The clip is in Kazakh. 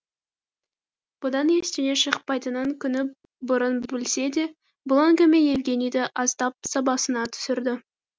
бұдан ештеңе шықпайтынын күні бұрын білсе де бүл әңгіме евгенийді аздап сабасына түсірді